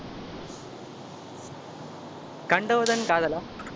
கண்டவுடன் காதலா?